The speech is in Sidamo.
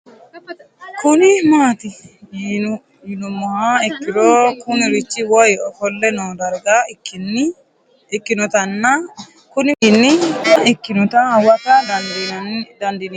Kuni mati yinu moha ikiro Kuni rich woyi ofole noo darga ikin otana Kuni wayini cululuqa ikinota huwata dandin emo